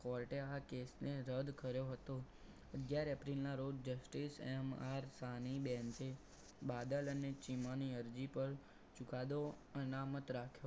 court એ આ કેસને રદ કર્યો હતો અગિયાર એપ્રિલના રોજ justiceMR સાની બેનસ બાદલ અને ચિમાની અરજી પર ચુકાદો અનામત રાખ્યો.